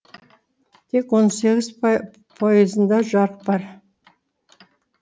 тек он сегіз пайызында жарық бар